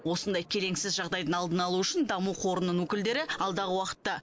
осындай келеңсіз жағдайдың алдын алу үшін даму қорының өкілдері алдағы уақытта